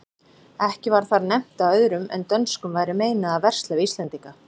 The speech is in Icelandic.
Ekki var þar nefnt að öðrum en dönskum væri meinað að versla við íslendinga.